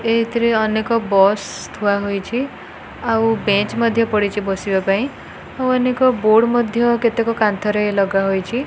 ଏଥିରେ ଅନେକ ବସ ଥୁଆ ହୋଇଚି ଆଉ ବେଞ୍ଚ ମଧ୍ୟ ପଡ଼ିଚି ବସିବା ପାଇଁ ଆଉ ଅନେକ ବୋର୍ଡ ମଧ୍ୟ କେତେକ କାନ୍ଥରେ ଲଗା ହୋଇଚି।